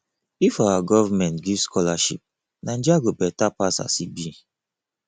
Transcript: if our government give scholarship naija go beta pass as e be